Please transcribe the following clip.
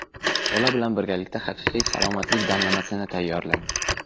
Bola bilan birgalikda haqiqiy salomatlik damlamasini tayyorlang.